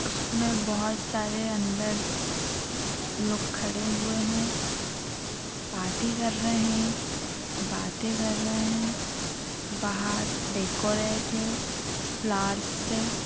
इसमें बहोत सारे अंदर लोग खड़े हुए हैं पार्टी कर रहे हैं बाते कर रहे हैं बाहर डेकोरेट है फ्लावर्स से --